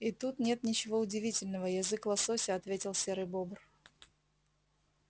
и тут нет ничего удивительного язык лосося ответил серый бобр